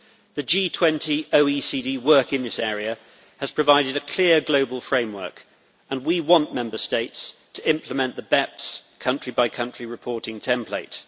The G20 OECD work in this area has provided a clear global framework, and we want Member States to implement the BEPS country by country reporting template.